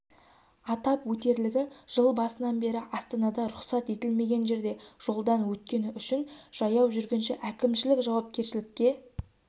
атап өтерлігі жыл басынан бері астанада рұқсат етілмеген жерде жолдан өткені үшін жаяу жүргінші әкімшілік жауапкершілікке